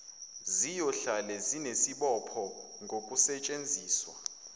ziyohlale zinesibopho ngokusetshenziswa